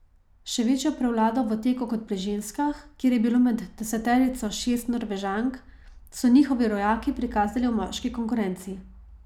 Še večjo prevlado v teku kot pri ženskah, kjer je bilo med deseterico šest Norvežank, so njihovi rojaki prikazali v moški konkurenci.